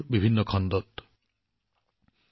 আৰু মই ইয়াক অনুভৱ কৰিছো লগতে ইয়াক গ্ৰহণ কৰিছো